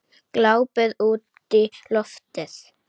Glápir útí loftið.